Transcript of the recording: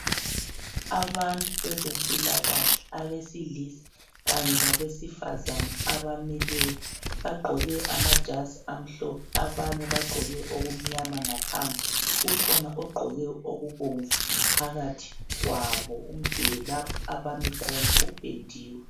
Abantu bezempilakahle abesilisa kanye labesifazana abamileyo bagqoke amajazi amhlophe abanye bagqoke okumnyama ngaphansi kukhona ogqoke okubomvu phakathi kwabo. Umduli lapho abami khona upendiwe.